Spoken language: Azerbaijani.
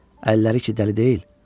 Əlləri ki dəli deyil.